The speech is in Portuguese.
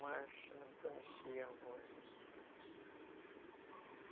Mas não conheci os avós, não.